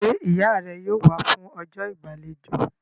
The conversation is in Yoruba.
Ṣé ìyá rẹ yóò wá fún ọjọ́ ìgbàlejò?